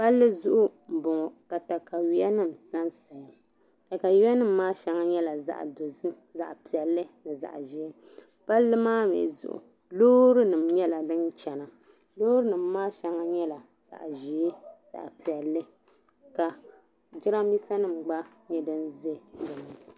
Palli zuɣu m-bɔŋɔ ka katayuyanima sa n-saya takayuyanima maa shɛŋa nyɛla zaɣ'dozim zaɣ'piɛlli ni zaɣ'ʒee palli mi zuɣu loorinima nyɛla din chana loorinima maa shɛŋa nyɛla zaɣ'ʒee zaɣ'piɛlli ka jirambiisanima gba nyɛ din ʒe di ni.